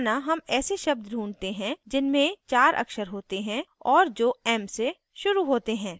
माना हम ऐसे शब्द ढूँढते हैं जिनमें चार अक्षर होते हैं और जो m से शुरू होते हैं